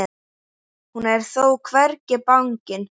Hún er þó hvergi bangin.